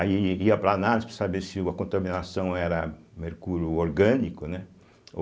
Aí ii ia para análise para saber se o a contaminação era mercúrio orgânico, né? ô